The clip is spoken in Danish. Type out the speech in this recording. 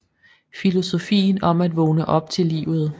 Filosofien om at vågne op til livet